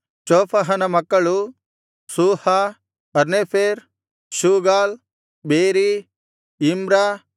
ಚೋಫಹನ ಮಕ್ಕಳು ಸೂಹ ಹರ್ನೇಫೆರ್ ಶೂಗಾಲ್ ಬೇರೀ ಇಮ್ರ